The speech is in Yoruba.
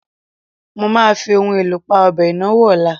Mo máa fi ohun èlò pa ọbẹ̀ ìnáwó ọ̀la.